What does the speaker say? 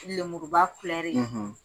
Lemuruba filɛre.